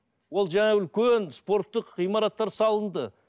ол жаңағы үлкен спорттық ғимараттар салынды